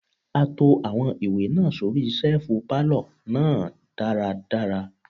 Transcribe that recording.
A to àwọn ìwé náà sóri ṣẹ́ẹ̀fù pálọ̀ náà dára dára.